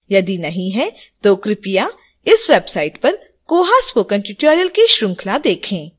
यदि नहीं तो कृपया इस website पर koha spoken tutorial की श्रृंखला देखें